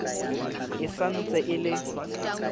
e sa ntse e le